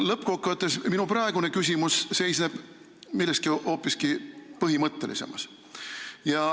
Lõppkokkuvõttes seisneb minu praegune küsimus milleski hoopiski põhimõttelisemas.